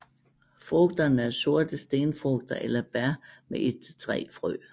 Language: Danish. Frugterne er sorte stenfrugter eller bær med et til tre frø